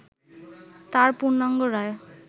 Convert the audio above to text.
তার পূর্ণাঙ্গ রায়